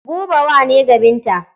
Buba wa ne ga Binta.